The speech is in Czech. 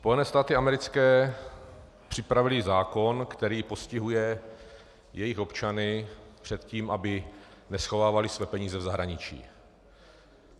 Spojené státy americké připravily zákon, který postihuje jejich občany před tím, aby neschovávali své peníze v zahraničí.